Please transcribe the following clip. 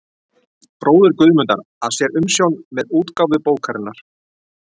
bróðir Guðmundar, að sér umsjón með útgáfu bókarinnar.